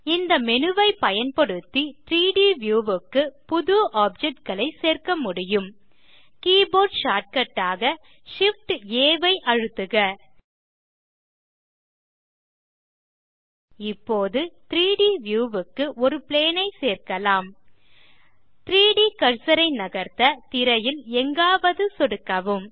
இந்த மேனு ஐ பயன்டுத்தி 3ட் வியூ க்கு புது ஆப்ஜெக்ட் களை சேர்க்க முடியும் கீபோர்ட் ஷார்ட்கட் ஆக Shift ஆம்ப் ஆ ஐ அழுத்துக இப்போது 3ட் வியூ க்கு ஒரு பிளேன் ஐ சேர்க்கலாம் 3ட் கர்சர் ஐ நகர்த்த திரையில் எங்காவது சொடுக்கவும்